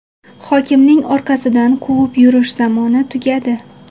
Hokimning orqasidan quvib yurish zamoni tugadi.